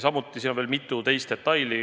Samuti on siin mänguis veel mitu teist detaili.